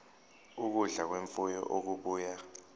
ukudla kwemfuyo okubuya